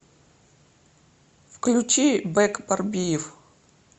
включи бек борбиев